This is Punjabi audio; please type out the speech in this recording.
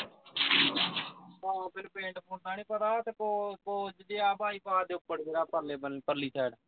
ਆ ਮੈਨੂੰ ਪਿੰਡ ਪੁਡ ਦਾ ਨੀਂ ਪਤਾ ਕੋਸ ਕੋਸ ਜਿਹਾ ਬਾਈਪਾਸ ਦੇ ਉੱਪਰ ਜਿਹਾ ਪਰਲੇ ਬੰਨੇ ਪਰਲੀ side